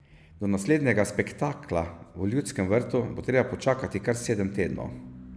Do naslednjega spektakla v Ljudskem vrtu bo treba počakati kar sedem tednov.